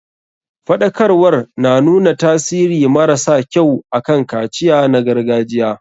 Faɗakarwar na nuna tasiri mara sa kyau akan kaciya na gargajiya.